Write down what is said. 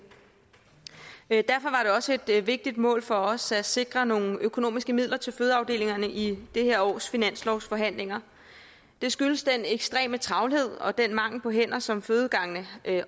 også et vigtigt mål for os at sikre nogle økonomiske midler til fødeafdelingerne i det her års finanslovsforhandlinger det skyldes den ekstreme travlhed og den mangel på hænder som fødegangene